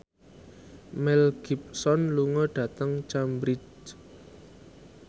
Mel Gibson lunga dhateng Cambridge